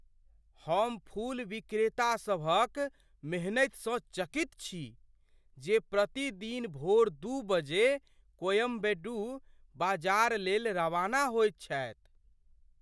हम फूल विक्रेतासभक मेहनतिसँ चकित छी जे प्रतिदिन भोर दू बजे कोयम्बेडु बाजार लेल रवाना होइत छथि।